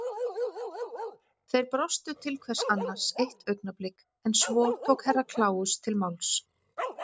Þeir brostu til hvers annars eitt augnablik en svo tók Herra kláus til máls.